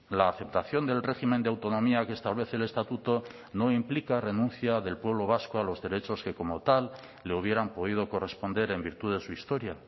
la aceptación del régimen de autonomía que establece el estatuto no implica renuncia del pueblo vasco a los derechos que como tal le hubieran podido corresponder en virtud de su historia